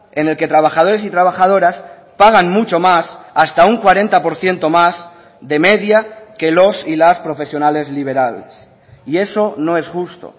en el que trabajadores y trabajadoras pagan mucho más hasta un cuarenta por ciento más de media que los y las profesionales liberales y eso no es justo